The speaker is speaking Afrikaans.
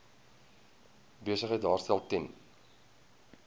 besigheid daarstel ten